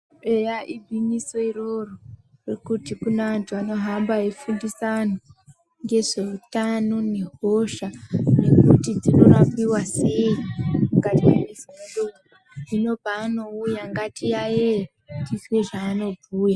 Eya igwinyiso iroro rokuti kuneantu anohamba eifundisa antu ngezveutano nehosha, nekuti dzinorapiwa sei mukati mwemizi medu. Hino paanouya ngatiyayeye, tizwe zvaanobhuya.